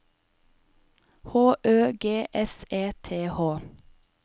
H Ø G S E T H